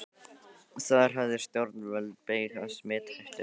Þar höfðu stjórnvöld beyg af smithættunni.